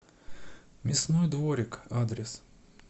мясной дворик адрес